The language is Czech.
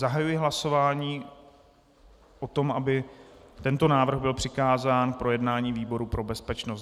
Zahajuji hlasování o tom, aby tento návrh byl přikázán k projednání výboru pro bezpečnost.